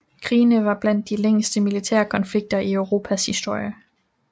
Krigene var blandt de længste militære konflikter i Europas historie